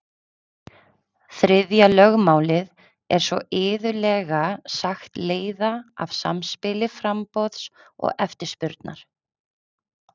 þriðja lögmálið er svo iðulega sagt leiða af samspili framboðs og eftirspurnar